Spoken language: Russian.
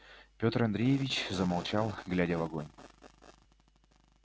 петр андреевич замолчал глядя в огонь